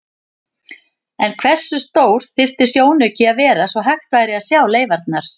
En hversu stór þyrfti sjónauki að vera svo hægt væri að sjá leifarnar?